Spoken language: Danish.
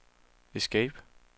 escape